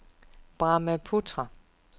Brahmaputra